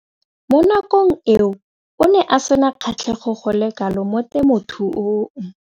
Mo nakong eo o ne a sena kgatlhego go le kalo mo temothuong.